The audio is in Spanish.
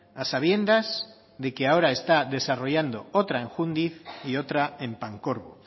a sabiendas de que ahora está desarrollando otra en jundiz y otra en pancorbo